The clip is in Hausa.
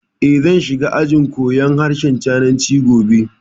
Eh, zan shiga ajin koyan harshen Sinanci gobe